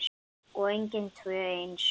Og engin tvö eins.